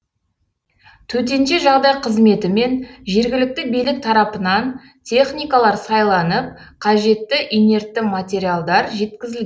төтенше жағдай қызметі мен жергілікті билік тарапынан техникалар сайланып қажетті инертті материалдар жеткізілген